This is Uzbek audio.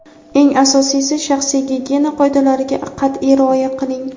Eng asosiysi shaxsiy gigiyena qoidalariga qat’iy rioya qiling!.